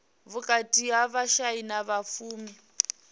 vhukati ha vhashai na vhapfumi